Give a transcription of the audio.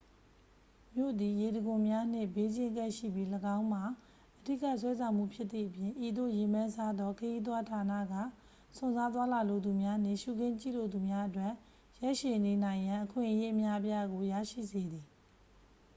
မြို့သည် ရေတံခွန်များနှင့် ဘေးချင်းကပ်ရှိပြီး ၎င်းမှာ အဓိက ဆွဲဆောင်မှုဖြစ်သည့်အပြင် ဤသို့ ရေပန်းစားသော ခရီးသွားဌာနေက စွန့်စားသွားလာလိုသူများနှင့် ရှုခင်းကြည့်ရှုလိုသူများအတွက် ရက်ရှည်နေနိုင်ရန် အခွင့်အရေး အများအပြားကို ရရှိစေသည်